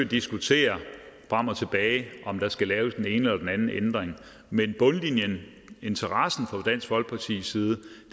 diskutere frem og tilbage om der skal laves den ene eller den anden ændring men bundlinjen interessen fra dansk folkepartis side